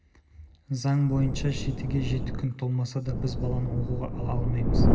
заң бойынша жетіге жеті күн толмаса да біз баланы оқуға ала алмаймыз